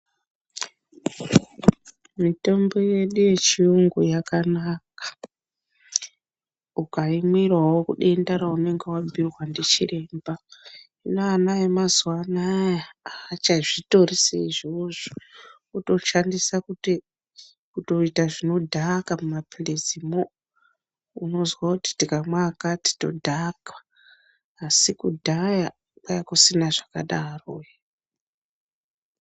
Mitombo yedu yechiyungu yakanaka ukaimwira wo denta raunenge wapiwa ndichiremba hino ana emazuva anaa hachazvitori seizvizvo wotoshandisa kutoita zvinodhaka muma pilizi mo unozwa kuti tikamwa akati tinodhakwa asi kudhaya kwanga kusina zvakadaro.